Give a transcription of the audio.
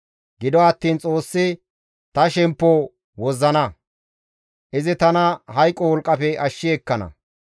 Gido attiin Xoossi ta shemppo wozzana; izi tana hayqo wolqqafe ashshi ekkana.